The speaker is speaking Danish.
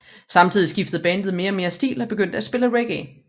Samtidig skiftede bandet mere og mere stil og begyndte at spille reggae